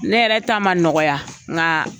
Ne yɛrɛ ta ma nɔgɔya nka